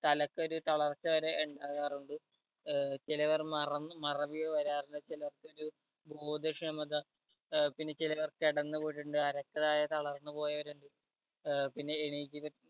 തലക്കൊരു തളർച്ച വരെ ഇണ്ടാകാറുണ്ട് ഏർ ചിലവർ മറന്ന് മറവിയോ വരാറുണ്ട് ചിലർക്കൊരു ബോധക്ഷമത ഏർ പിന്നെ ചിലവർ കെടന്നു പോയിട്ടുണ്ട് അരക്ക് താഴെ തളർന്ന് പോയവരുണ്ട് ഏർ പിന്നെ എണീറ്റിരു